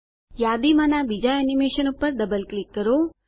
યાદીમાંનાં બીજાં એનીમેશન પર double click કરો